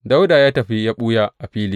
Dawuda ya tafi ya ɓuya a fili.